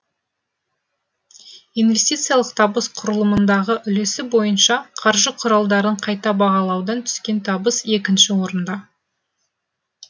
инвестициялық табыс құрылымындағы үлесі бойынша қаржы құралдарын қайта бағалаудан түскен табыс екінші орында